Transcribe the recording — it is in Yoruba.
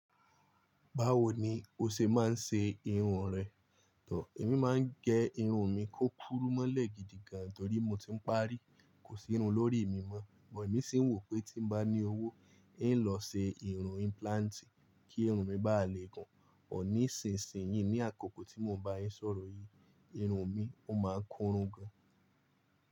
Báwo ni o ṣe máa ń ṣe irun rẹ? Èmi máa ń gẹ irun mi kó kúró mọ́lẹ̀ gidigan torí mo ti ń parí, kò sí irun lórí mi mọ́. Ṣùgbọ́n èmi sì ń wò pé tí n bá ní owó, ń lọ ṣe irun implant kí irun mi bá lè pọ. Bọ ni sìnsìn yìí ní àkókò tí mo bá yín sọ̀rọ̀ yìí, irun mi ó máa ń korún gan.